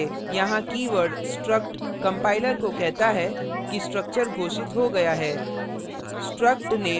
यहाँ keyword struct compiler को कहता है कि structure घोषित हो गया है